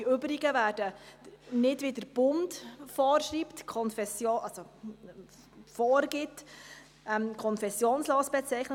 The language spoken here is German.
Alle übrigen werden nicht, wie es der Bund vorgibt, als «konfessionslos» bezeichnet.